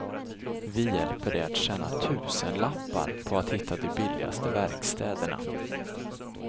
Vi hjälper dig att tjäna tusenlappar på att hitta de billigaste verkstäderna.